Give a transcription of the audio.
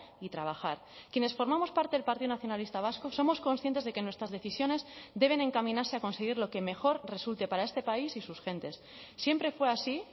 y trabajar quienes formamos parte del partido nacionalista vasco somos conscientes de que nuestras decisiones deben encaminarse a conseguir lo que mejor resulte para este país y sus gentes siempre fue así